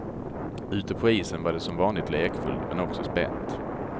Ute på isen var det som vanligt lekfullt, men också spänt.